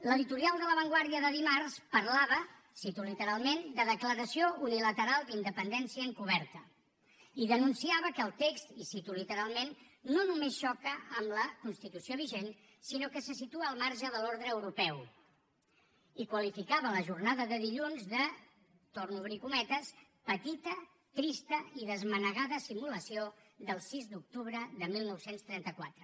l’editorial de la vanguardia de dimarts parlava ho cito literalment de declaració unilateral d’independència encoberta i denunciava que el text i ho cito literalment no només xoca amb la constitució vigent sinó que se situa al marge de l’ordre europeu i qualificava la jornada de dilluns de torno a obrir cometes petita trista i desmanegada simulació del sis d’octubre de dinou trenta quatre